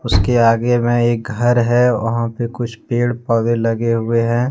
उसके आगे मे एक घर है वहां पे कुछ पेड़ पौधे लगे हुए हैं।